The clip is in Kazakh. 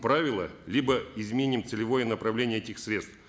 правила либо изменим целевое направление этих средств